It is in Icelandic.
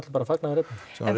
bara fagnaðarefni